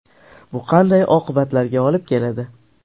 Bu qanday oqibatlarga olib keladi?